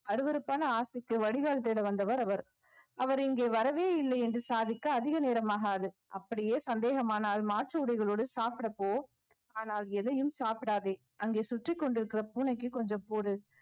அருவருப்பான ஆசைக்கு வடிகால் தேட வந்தவர் அவர் அவர் இங்கே வரவே இல்லை என்று சாதிக்க அதிக நேரம் ஆகாது அப்படியே சந்தேகமானால் மாற்று உடைகளோடு சாப்பிட போ ஆனால் எதையும் சாப்பிடாதே அங்கே சுற்றிக் கொண்டிருக்கிற பூனைக்கு கொஞ்சம் போடு